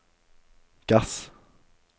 gass